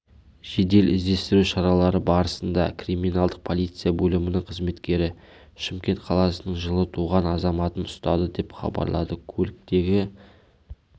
жедел-іздестіру шаралары барысында криминалдық полиция бөлімінің қызметкерлері шымкент қаласының жылы туған азаматын ұстады деп хабарлады көліктегі